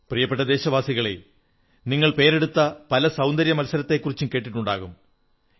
പ്രിയപ്പെട്ട ദേശവാസികളേ നിങ്ങൾ പേരെടുത്ത പല സൌന്ദര്യമത്സരങ്ങളെക്കുറിച്ചും കേട്ടിട്ടുണ്ടാകും